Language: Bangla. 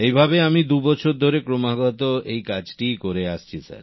এইভাবে আমি দু বছর ধরে ক্রমাগত এই কাজটিই করে আসছি